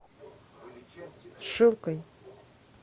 шилкой